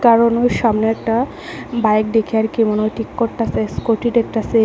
কারণ ওই সামনে একটা বাইক দেখে আর কি মনে হয় ঠিক করতাসে স্কুটি দেখতাছে।